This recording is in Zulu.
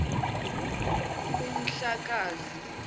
umdlakazi